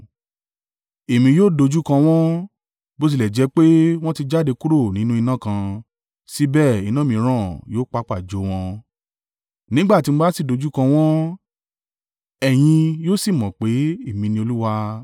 Èmi yóò dojúkọ wọ́n. Bó tilẹ̀ jẹ́ pé wọn ti jáde kúrò nínú iná kan, síbẹ̀ iná mìíràn yóò pàpà jó wọn. Nígbà tí mo bá sì dojúkọ wọ́n, ẹ̀yin yóò sì mọ̀ pé, Èmi ni Olúwa.